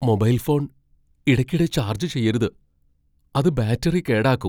Mobile phone ഇടയ്ക്കിടെ charge ചെയ്യരുത്, അത് ബാറ്ററി കേടാക്കും .